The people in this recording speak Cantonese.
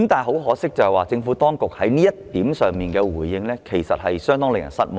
可惜的是，政府當局對此的回應教人深感失望。